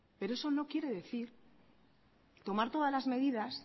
pero eso no quiere decir tomar todas las medidas